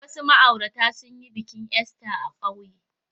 Wasu ma'aurata sun yi bikin Ista a ƙauye.